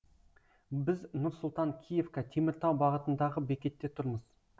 біз нұр сұлтан киевка теміртау бағытындағы бекетте тұрмыз